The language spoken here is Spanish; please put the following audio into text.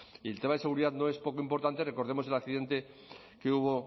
y en el tema de seguridad no es poco importantes recordemos el accidente que hubo